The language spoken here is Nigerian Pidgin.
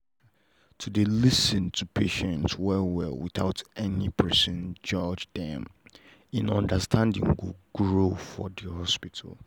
to dey lis ten to patient well well without say person judge dem en understanding go grow for the hospital.